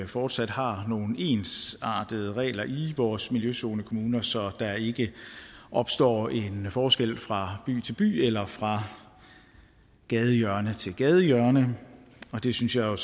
fortsat har nogle ensartede regler i vores miljøzonekommuner så der ikke opstår en forskel fra by til by eller fra gadehjørne til gadehjørne det synes jeg jo